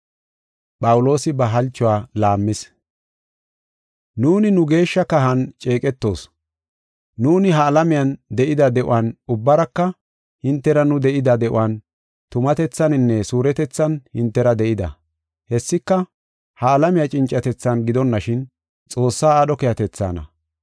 Nuuni nu geeshsha kahan ceeqetoos. Nuuni ha alamiyan de7ida de7uwan ubbaraka hintera nu de7ida de7uwan tumatethaninne suuretethan hintera de7ida. Hessika, ha alamiya cincatethan gidonashin, Xoossaa aadho keehatethaana.